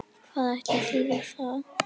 Hvað ætli það þýði?